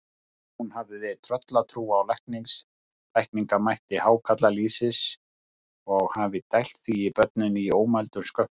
Hún hafði tröllatrú á lækningamætti hákarlalýsis og hafði dælt því í börnin í ómældum skömmtum.